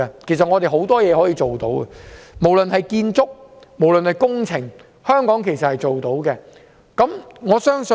其實，我們有很多事情可以做，無論是建築或工程，香港也做得到。